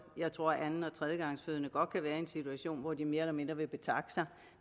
jeg tror at anden og tredjegangsfødende godt kan være i en situation hvor de mere eller mindre vil betakke sig